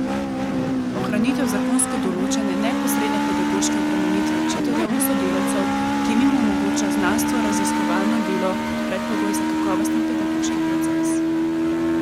Ohranitev zakonsko določene neposredne pedagoške obremenitve učiteljev in sodelavcev, ki jim omogoča znanstvenoraziskovalno delo kot predpogoj za kakovosten pedagoški proces.